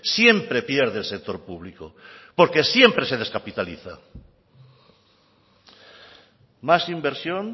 siempre pierde el sector público porque siempre se descapitaliza más inversión